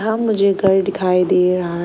मुझे घर दिखाई दे रहा है।